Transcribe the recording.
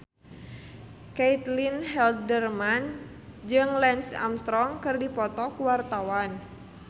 Caitlin Halderman jeung Lance Armstrong keur dipoto ku wartawan